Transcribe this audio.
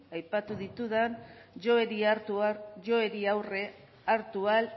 aipatu ditudan joerei aurre hartu ahal